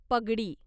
पगडी